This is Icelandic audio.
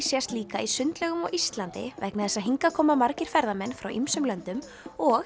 sést líka í sundlaugum á Íslandi vegna þess að hingað koma margir ferðamenn frá ýmsum löndum og